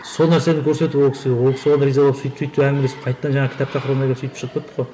сол нәрсені көрсетіп ол кісі ол кісі соған разы болып сөйтіп сөйтіп әңгімелесіп қайтадан жаңағы кітап тақырыбына келіп сөйтіп шығып кеттік қой